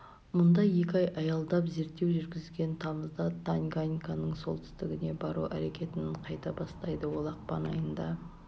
мұнда екі ай аялдап зерттеу жүргізген тамызда танганьиканың солтүстігіне бару әрекетін қайта бастайды ол ақпан айында